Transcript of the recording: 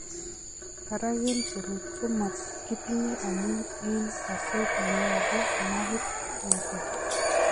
Barak eng' seruut komakitinye amun eng' kaseet neyobu nervit neter